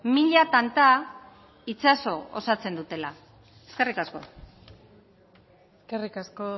mila tanta itsaso osatzen dutela eskerrik asko eskerrik asko